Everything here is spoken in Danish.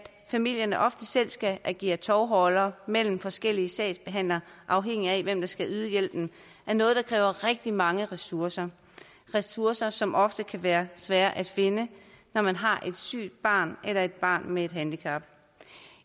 familierne ofte selv skal agere tovholdere mellem forskellige sagsbehandlere afhængigt af hvem der skal yde hjælpen er noget der kræver rigtig mange ressourcer ressourcer som ofte kan være svære at finde når man har et sygt barn eller et barn med et handicap